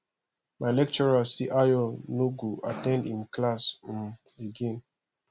my lecturer say ayo no go at ten d im class um again